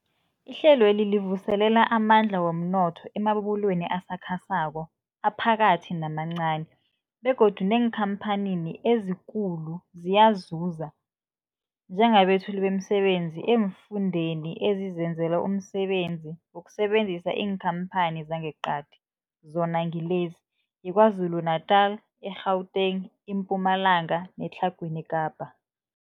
Ihlelweli livuselela amandla womnotho emabubulweni asakhasako, aphakathi namancani begodu neenkhamphani ezikulu ziyazuza njengabethuli bemisebenzi eemfundeni ezizenzela umsebenzi ngokusebenzisa iinkhamphani zangeqadi, zona ngilezi, yiKwaZulu-Natala, i-Gauteng, iMpumalanga neTlhagwini Kapa.